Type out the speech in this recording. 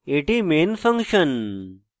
এটি main function